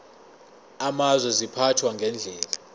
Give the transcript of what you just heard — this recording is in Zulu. amazwe ziphathwa ngendlela